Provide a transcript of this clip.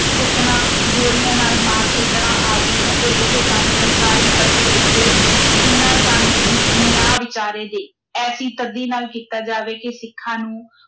ਕੁੱਟਣਾ, ਗੋਲੀਆਂ ਨਾਲ ਮਾਰ ਸੁੱਟਣਾ ਆਦਿ ਅਤੇ ਇਹ ਕੰਮ ਸਰਕਾਰੀ ਪੱਧਰ ਉੱਤੇ ਬਿਨਾਂ ਕਾਨੂੰਨ ਨਿਆਂ ਵਿਚਾਰੇ ਦੇ ਐਸੀ ਸਖਤੀ ਨਾਲ ਕੀਤਾ ਜਾਵੇ ਕਿ ਸਿੱਖਾਂ ਨੂੰ